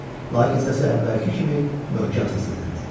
Lakin səsi əvvəlki kimi möhkəm səslənirdi.